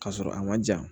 K'a sɔrɔ a ma jan